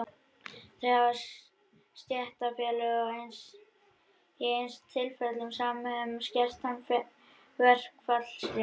Þá hafa stéttarfélög í einstaka tilfellum samið um skertan verkfallsrétt.